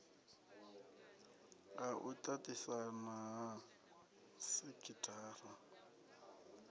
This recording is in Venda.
ha u tatisana ha sekhithara